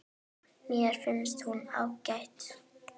Mér finnst hún ágæt.